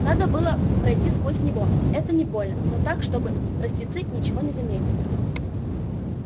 надо было пройти сквозь него это не больно но так чтобы простецы ничего не заметили